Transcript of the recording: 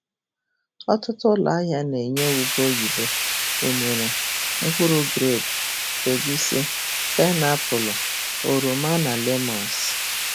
Ọtụtụ ụlọ ahịa na-enye ube oyibo, unere, mkpụrụ grepu, egusi, painiapulu, oroma, na lemons.